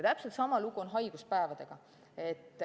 Täpselt sama lugu on haiguspäevadega.